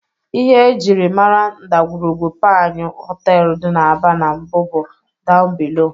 Ihe e jiri mara ndagwurugwu Panyu họteelụ dị n'Aba n'mbụ bụ "down below".